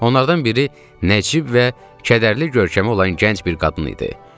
Onlardan biri nəcib və kədərli görkəmi olan gənc bir qadın idi.